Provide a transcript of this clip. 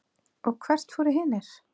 og hvert fóru hinir?